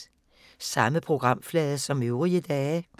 Samme programflade som øvrige dage